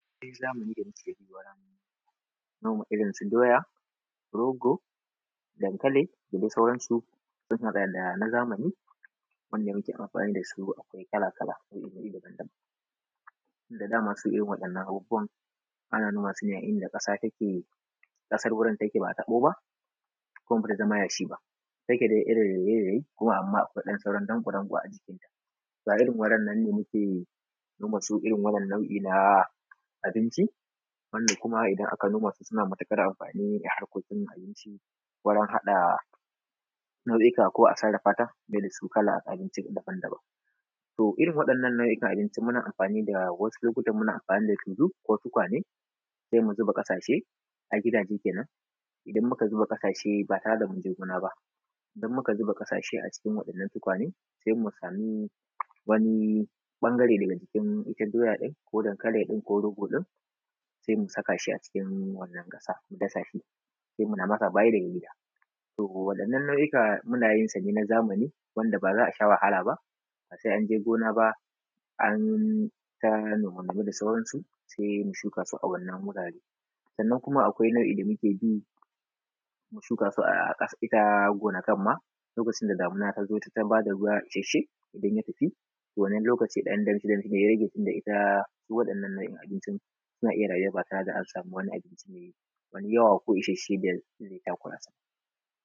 Me za mu ci daga cikin gona, noma irinsu doya rogo da dankali da dai sauransu. So ga bayanan zamani wanda muke amfani da su akwai kala-kala tun da dama su irin waɗannan abubuwan ana noma su ne a inda kasar wurin take ba taɓo kuma bai zama yashi ba. Da yake dai irin wuri amma a sauran ɗan Irin rairayi-rairayi ne kuma amma akwai ɗan sauran danƙo-donƙo a cikinta ba irin waran nan ba ne na abinci wanda kuma idan aka noma su suna da matuƙar amfani abinci warun haka nau'ika ko a sarrafa ta abinci daban-daban. To irin waɗannan nau'ikan abinci wani lokaci muna amfani da tulu ko tukwane sai mu zuba ƙasashe a gida kenan, idan muka zuba ƙasashe ba tare da mun je gona ba. Idan muka zuba ƙasashe a cikin waɗannan tukwane sai mu samu wani ɓangare daga cikin doya ɗin ko dankalin ɗin ko rogo sai mu saka shi a cikin wannan ƙasa sai mu tasa shi sai muna masa bayan gida. To waɗannan nau'ika ɗin. Muna yin sa ne na zamani wanda ba za a sha wahala ba, ba sai an je gona ba an ta nome-nome da sauransu sai mu shuka su a waɗannan wurare. Sannan kuma akwai nau'i da muke shuka su a gonakai ma lokacin da damuna ta zo ta ba da ruwa isasshe idan ya tafi, to wannan lokacin ɗan danshi'dashi da ya rage suna iya rayuwa ba tare da wani abinci mai wani yawa ko isasshen da zai takura su ba.